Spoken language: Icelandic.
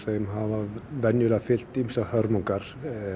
hafa venjulega fylgt einhverjar hörmungar